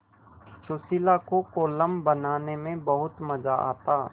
सुशीला को कोलम बनाने में बहुत मज़ा आता